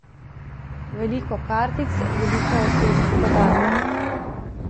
Veliko kartic, veliko osebnih podatkov.